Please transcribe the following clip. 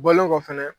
Bɔlen kɔ fɛnɛ